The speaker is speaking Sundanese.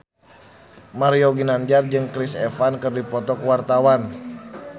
Mario Ginanjar jeung Chris Evans keur dipoto ku wartawan